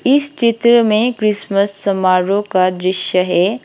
इस चित्र में क्रिसमस समारोह का दृश्य है।